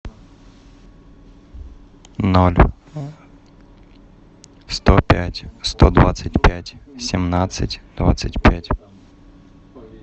ноль сто пять сто двадцать пять семнадцать двадцать пять